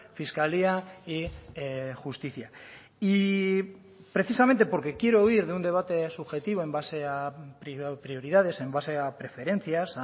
fiscalía y justicia y precisamente porque quiero huir de un debate subjetivo en base a prioridades en base a preferencias